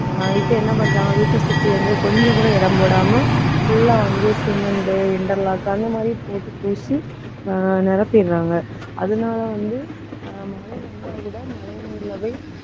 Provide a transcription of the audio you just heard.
இப்ப என்ன பண்றாங்க வீட்டைச் சுற்றி வந்து கொஞ்சம் கூட இடம் போடாம full ஆ வந்து, cement interlock அந்த மாதிரி போட்டு பூசி, ஆஹ் நிரப்பிடுறாங்க. அதனால வந்து, ஆஹ் மழை வந்தா கூட மழைநீர்ல போய்